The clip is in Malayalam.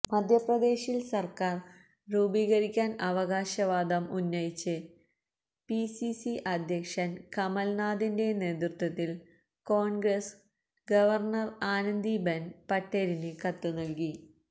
മധ്യപ്രദേശില് സര്ക്കാര് രൂപീകരിക്കാന് അവകാശവാദം ഉന്നയിച്ച് പിസിസി അധ്യക്ഷന് കമല്നാഥിന്റെ നേതൃത്വത്തില് കോണ്ഗ്രസ് ഗവര്ണര് ആനന്ദീബെന് പട്ടേലിന് കത്ത് നല്കി